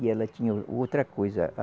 E ela tinha outra coisa.